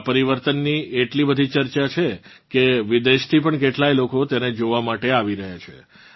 આ પરિવર્તનની એટલી બધી ચર્ચા છે કે વિદેશથી પણ કેટલાય લોકો તેને જોવાં માટે આવી રહ્યાં છે